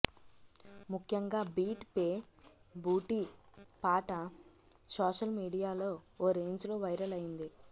ముఖ్యంగా beat pe booty పాట social మీడియాలో ఓ రేంజ్లో వైరల్ అయ్యింది